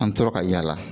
An tora ka yaala